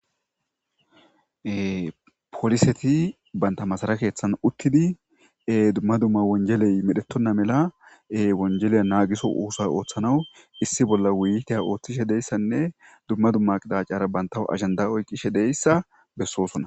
Poliseti banta masara keeththan uttidi e dumma dumma wonjeley medhetonna melaewonjeleya naagiso uusa ooththanaw issi bolla wuyiteya ooththishe deyssanne dumma dumma qidacara banta agenda oyqishe deyssa bessoosona.